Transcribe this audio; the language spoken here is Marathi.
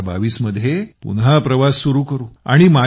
2022 मध्ये पुन्हा प्रवास सुरु करू